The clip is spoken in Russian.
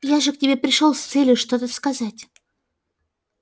я же к тебе пришёл с целью что-то сказать